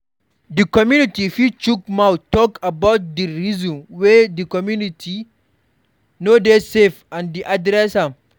Di community fit chook mouth talk about di reason why di community no dey safe and then address am